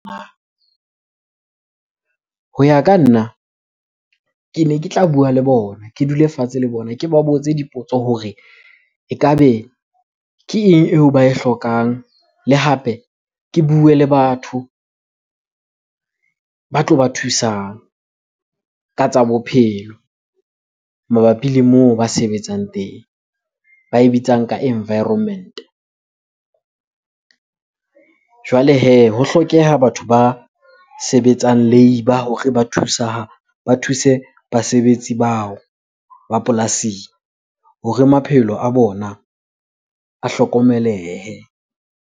Ho ya ka nna, kene ke tla bua le bona. Ke dule fatshe le bona, ke ba botse dipotso hore ekabe ke eng eo ba e hlokang? Le hape ke bue le batho ba tlo ba thusang ka tsa bophelo mabapi le moo ba sebetsang teng. Ba e bitsang ka environment-e. Jwale hee, ho hlokeha batho ba sebetsang labour hore ba thusa, ba thuse basebetsi bao ba polasing hore maphelo a bona a hlokomelehile.